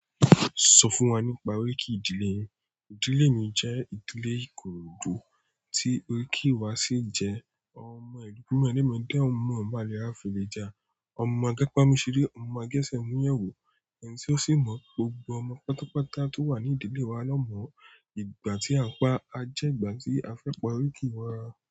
Sọ fún wa nípa oríkì ìdílé yín. Ìdílé mi jẹ́ ìdílé ìkoròdú tí oríkì wa ṣì jẹ́ ọmọ ẹ̀rúku mẹ́demede. Ọmọ ibalẹ a fẹlẹ já ọmọ àgepa mú sí lè ọ, ọmọ àge sẹ̀ mú yẹ̀wò, ẹ̀ní tì ó sì mọ̀ gbogbo ọmọ pátápátá tó wà ní ìdílé wa lọ́mọ. Ìgbà tí a n pá a jẹ́ ìgbà tí a fẹ́ pa oriki wà.